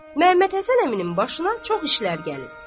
Məhəmməd Həsən əminin başına çox işlər gəlib.